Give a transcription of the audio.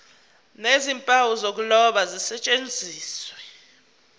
nezimpawu zokuloba zisetshenziswe